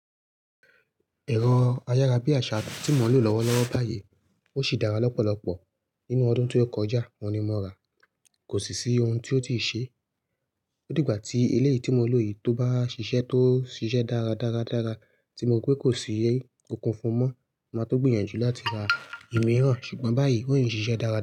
Ẹ̀rọ ayárabíàṣá tí mo ń lò lọ́wọ́lọ́wọ́ báyìí ó sì dára lọ́pọ̀lọpọ̀. Nínú ọdún tó kọjá òun ni mo ra a, kò sì sí ohun tí ó ti ṣe. Ó dìgbà tí eléyìí tí mo n lò yìí tó bá ṣiṣẹ́ tó ṣiṣẹ́ dára, dára, dára tí mo rí pé kò sí nkan fún mọ, màá tó gbìyànjú láti ra ìmíràn ṣùgbọ́n báyìí ó ń ṣiṣẹ́ dára.